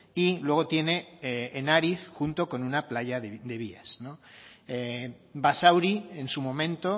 y luego tiene en ariz junto con una playa de vías basauri en su momento